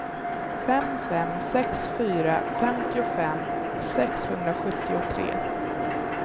fem fem sex fyra femtiofem sexhundrasjuttiotre